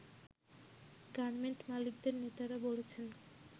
garment মালিকদের নেতারা বলছেন